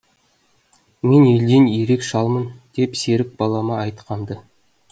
мен елден ерек шалмын деп серік балама айтқам ды